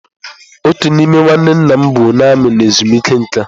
Otu n'ime nwanne nna m bụ onye armiị nọ ezumike nka.